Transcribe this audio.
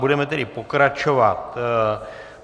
Budeme tedy pokračovat.